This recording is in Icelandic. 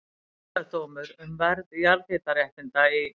Gerðardómur um verð jarðhitaréttinda í